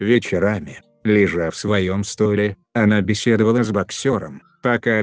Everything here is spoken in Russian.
вечерами лёжа в своём стойле она беседовала с боксёром пока